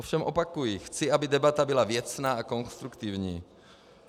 Ovšem opakuji, chci, aby debata byla věcná a konstruktivní.